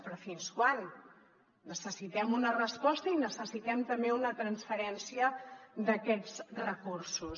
però fins quan necessitem una resposta i necessitem també una transferència d’aquests recursos